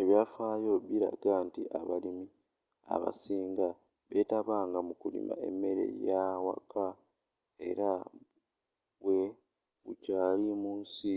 ebyafaayo biraga nti abalimi abasinga beetabanga mu kulima emmere y'awaka era bwe gukyaali mu nsi